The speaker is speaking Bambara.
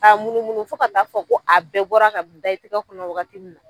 K'a munumunu fo ka t'a fɔ ko a bɛɛ bɔra ka da i tigɛ kɔnɔ wagati min na